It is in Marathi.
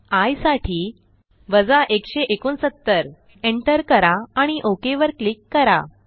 आय साठी 169 एंटर करा आणि OKवर क्लिक करा